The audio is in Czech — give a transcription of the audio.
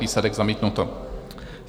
Výsledek: zamítnuto.